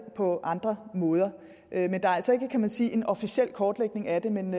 på andre måder der er altså ikke kan man sige en officiel kortlægning af det men